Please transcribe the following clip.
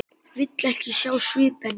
Vill ekki sjá svip hennar.